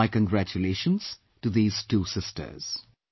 Many congratulation to these two sisters